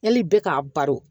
Yali bɛɛ k'a balo